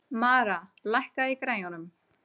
Mara, lækkaðu í græjunum.